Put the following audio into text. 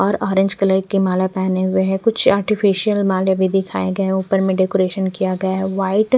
और orange colour की माला पहने हुए है कुछ आर्टिफिशियल माले भी दिखाए गए हैं ऊपर में डेकोरेट किया गया है व्हाइट --